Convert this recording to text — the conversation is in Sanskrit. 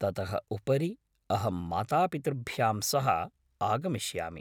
ततः उपरि अहं मातापितृभ्यां सह आगमिष्यामि।